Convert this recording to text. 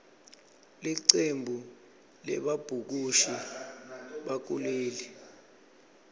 licembu lebabhukushi bakuleli